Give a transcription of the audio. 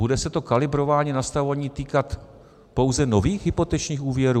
Bude se to kalibrování, nastavování týkat pouze nových hypotečních úvěrů?